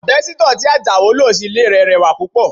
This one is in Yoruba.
Àbẹ́sítọ̀ tí Ajao lò sí ilé rẹ̀ rẹwà púpọ̀